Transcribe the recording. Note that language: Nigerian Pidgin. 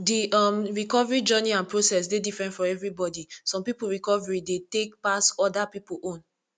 di um recovery journey and process dey different for everybody some pipo recovery dey tey pass oda pipo own